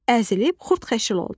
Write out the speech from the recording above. Əzilib xurdxəşil oldu.